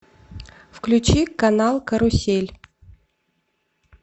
включи канал карусель